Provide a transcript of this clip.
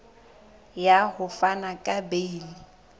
ya ho fana ka beile